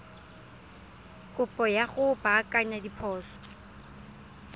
kopo ya go baakanya diphoso